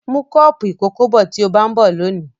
Mú kọ́ọ́pù ìkókó bọ̀ tí ó bá ń bọ̀ lónìí.